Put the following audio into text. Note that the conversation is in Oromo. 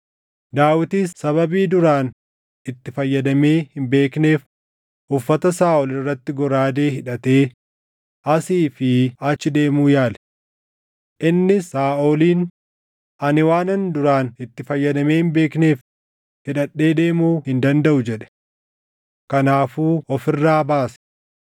Daawitis sababii duraan itti fayyadamee hin beekneef uffata Saaʼol irratti goraadee hidhatee asii fi achi deemuu yaale. Innis Saaʼoliin, “Ani waanan duraan itti fayyadamee hin beekneef hidhadhee deemuu hin dandaʼu” jedhe. Kanaafuu of irraa baase.